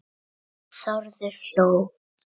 Þórður hló.